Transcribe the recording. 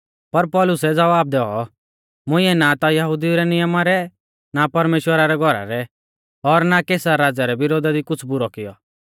पर पौलुसै ज़वाब दैऔ मुंइऐ नां ता यहुदिऊ रै नियमा रै ना परमेश्‍वरा रै घौरा रै और ना कैसर राज़ै रै विरोधा दी कुछ़ बुरौ कियौ